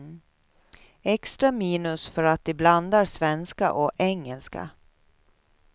Extra minus för att de blandar svenska och engelska.